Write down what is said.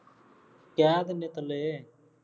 ਕਹਿ ਦਿੰਦੇ ਪਹਿਲੇ